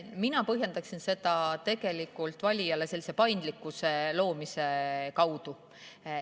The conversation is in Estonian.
Mina põhjendaksin seda valijale paindlikkuse loomise kaudu.